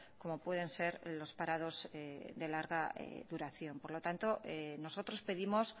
como pueden ser los parados de larga duración por lo tanto nosotros pedimos